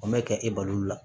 O mɛ kɛ e balo la